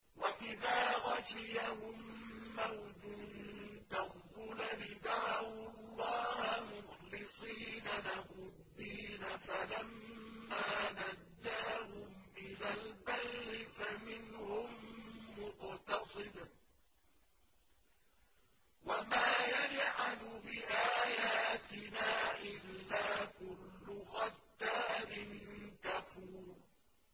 وَإِذَا غَشِيَهُم مَّوْجٌ كَالظُّلَلِ دَعَوُا اللَّهَ مُخْلِصِينَ لَهُ الدِّينَ فَلَمَّا نَجَّاهُمْ إِلَى الْبَرِّ فَمِنْهُم مُّقْتَصِدٌ ۚ وَمَا يَجْحَدُ بِآيَاتِنَا إِلَّا كُلُّ خَتَّارٍ كَفُورٍ